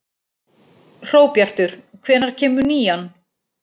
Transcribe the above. Hróbjartur, hvenær kemur nían?